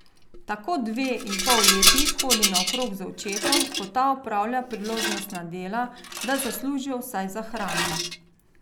Tako dve in pol letnik hodi naokrog z očetom, ko ta opravlja priložnostna dela, da zaslužijo vsaj za hrano.